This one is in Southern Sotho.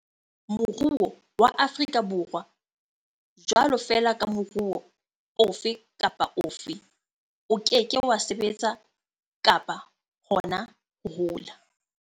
Moruo wa Afri ka Borwa, jwalo fela ka moruo ofe kapa ofe, o ke ke wa sebetsa, kapa hona ho hola.